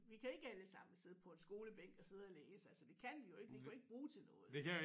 Vi kan ikke alle sammen sidde på en skolebænk og sidde og læse altså det kan vi jo ikke vi kan jo ikke bruge til noget